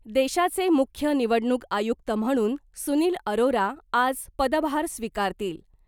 देशाचे मुख्य निवडणूक आयुक्त म्हणून सुनील अरोरा आज पदभार स्वीकारतील .